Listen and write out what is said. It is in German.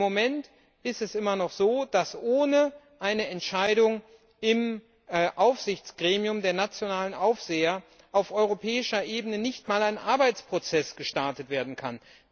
Im Moment ist es immer noch so, dass ohne eine Entscheidung im Aufsichtsgremium der nationalen Aufseher auf europäischer Ebene nicht einmal ein Arbeitsprozess gestartet werden kann.